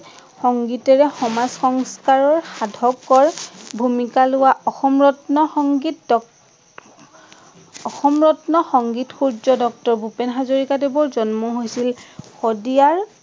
সংগীতেৰে সমাজ সংস্কাৰৰ সাধকৰ ভুমিকা লোৱা অসমৰত্ন সংগীত ডক্ট অসম ৰত্ন সংগীত সূৰ্য ডক্টৰ ভূপেন হজৰিকা দেৱৰ জন্ম হৈছিল শদিয়াৰ